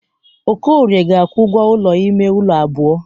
Okorie ga-akwụ ụgwọ ụlọ ime ụlọ abụọ.